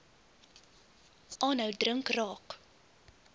aanhou drink raak